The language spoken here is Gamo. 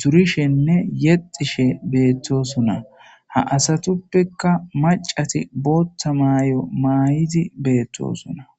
durishenne yexxishe beettosona ha asatuppeka macati bootta mayo maayidi beettosona.